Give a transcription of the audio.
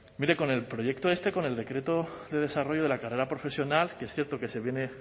mire con el proyecto este con el decreto de desarrollo de la carrera profesional que es cierto que se viene